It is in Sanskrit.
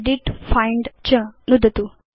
एदित् फाइण्ड च नुदतु